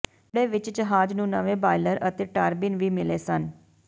ਵਿਹੜੇ ਵਿਚ ਜਹਾਜ਼ ਨੂੰ ਨਵੇਂ ਬਾਇਲਰ ਅਤੇ ਟਾਰਬਿਨ ਵੀ ਮਿਲੇ ਸਨ